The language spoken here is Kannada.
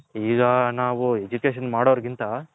ಈಗ ನಾವು Education ಮಾಡೋರ್ ಗಿಂತ.